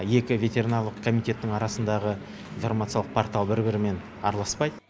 екі ветеринарлық комитеттің арасындағы информациялық портал бір бірімен араласпайды